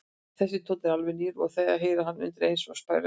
Þessi tónn er alveg nýr og þeir heyra hann undireins og sperra eyrun.